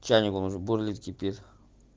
чайник он уже бурлит кипит